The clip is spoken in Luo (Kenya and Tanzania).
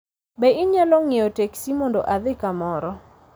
Be inyalo ng'iewo teksi mondo adhi kamoro